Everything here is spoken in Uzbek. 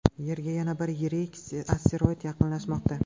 Yerga yana bir yirik asteroid yaqinlashmoqda.